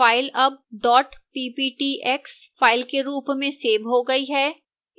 file अब dot pptx file के रूप में सेव हो गई है